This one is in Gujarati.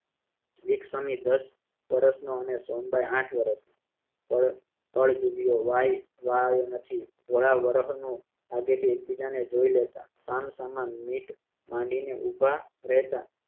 વીક સ્વામી દસ વર્ષ નો અને સોનબાઇ આઠ વર્ષની અળ~અળ જુબિયો વાય વા આવ્યો નથી વરાહ વરહ નું આઘેથી એકબીજાને જોય લેતા સામસામા મીટ માંડીને ઉભા રહેતા